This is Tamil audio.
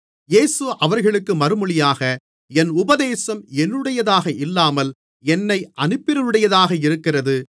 இயேசு அவர்களுக்கு மறுமொழியாக என் உபதேசம் என்னுடையதாக இல்லாமல் என்னை அனுப்பினவருடையதாக இருக்கிறது